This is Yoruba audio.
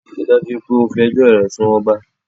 Ríi dájú wípé o fi ẹjọ́ o rẹ̀ sun ọba